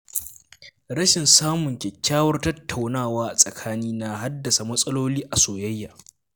Rashin samun kyakkyawar tattaunawa a tsakani na haddasa matsaloli a soyayya.